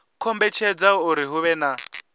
kombetshedza uri hu vhe na